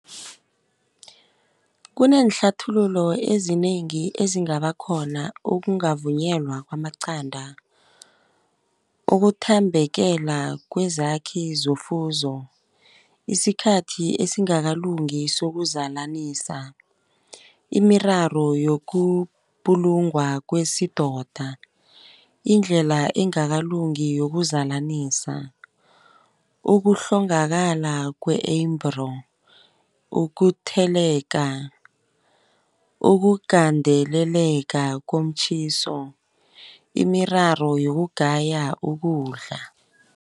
Kuneenhlathululo ezinengi ezingaba khona, ukungavunyelwa kwamaqanda. Ukuthambekela wezakhi zofuzo. Isikhathi esingakalungi sokuzalanisa. Imiraro yokubulungwa kwesidoda. Indlela engakalungi yokuzalanisa. Ukuhlongakala kwe-embryo. Ukutheleka. Ukugandeleleka komtjhiso. Imiraro yokugaya ukudla.